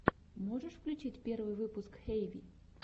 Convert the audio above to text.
можешь включить первый выпуск хэйви